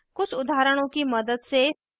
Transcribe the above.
कुछ उदाहरणों की मदद से